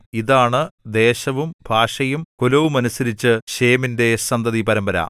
ഇതാണ് ദേശവും ഭാഷയും കുലവുമനുസരിച്ച് ശേമിന്റെ സന്തതിപരമ്പര